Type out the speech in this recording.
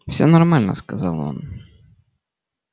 все нормально сказал он